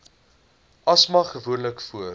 asma gewoonlik voor